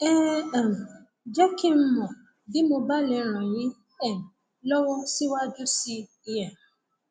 ẹ um jẹ kí n mọ bí mo bá lè ràn yín um lọwọ síwájú sí i um